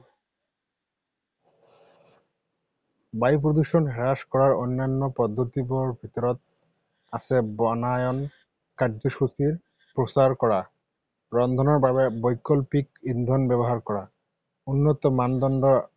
বায়ু প্ৰদূষণ হ্ৰাস কৰাৰ অন্যান্য পদ্ধতিবোৰৰ ভিতৰত আছে বনায়ন কাৰ্যসূচীৰ প্ৰচাৰ কৰা, ৰন্ধনৰ বাবে বৈকল্পিক ইন্ধন ব্যৱহাৰ কৰা, উন্নত মানদণ্ডৰ